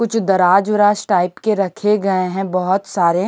कुछ दराज उराज टाइप के रखे गए हैं बहुत सारे--